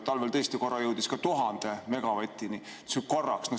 Talvel tõesti korra jõudis 1000 megavatini, see oli korraks.